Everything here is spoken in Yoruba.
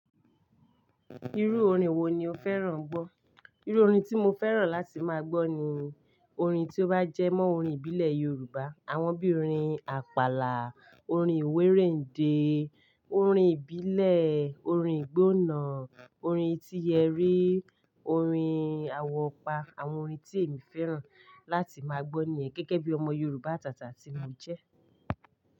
Irú orin wo ni o fẹ́ràn gbọ́? Irú orin tí mo fẹ́ràn láti máa gbọ́ ni orin tí ó bá jẹ́ mọ́ orin ìbílẹ̀ Yorùbá. Àwọn bí i orin Àpàlà, orin ìwé rède, orin ìbílẹ̀, orin ìgbóná, orin etí eré, orin awopọ, àwọn orin tí èmi fẹ́ràn láti máa gbọ́ nìyẹn gẹ́gẹ́ bí ọmọ Yorùbá àtàtà tí mo jẹ́